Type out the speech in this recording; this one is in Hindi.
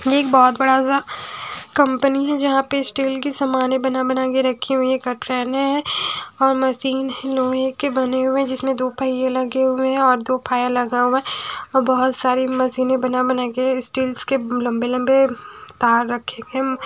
ये एक बहुत बड़ा सा कंपनी है जहाँ पे स्टील की सामान बना बना के रखी हुई है कट्रेने हैं और मसीन लोहे के बने हुए हैं जिसमें दो पहिये लगे हुए हैं और दो फायर लगा हुआ है और बहुत सारे मसिने बना बना के स्टील्स के लम्बे लम्बे तार रखे इम --